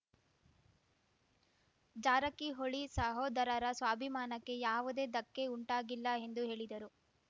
ಜಾರಕಿಹೊಳಿ ಸಹೋದರರ ಸ್ವಾಭಿಮಾನಕ್ಕೆ ಯಾವುದೇ ಧಕ್ಕೆ ಉಂಟಾಗಿಲ್ಲ ಎಂದು ಹೇಳಿದರು